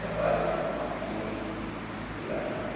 Trabalha em uma firma, mas está se virando por lá.